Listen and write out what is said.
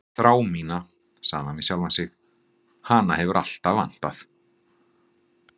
Þrá mína, sagði hann við sjálfan sig, hana hefur alltaf vantað.